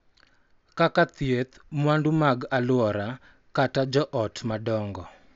Kaka thieth, mwandu mag alwora, kata jo ot madongo,